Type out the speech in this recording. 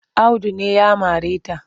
Audu ne ya mare ta.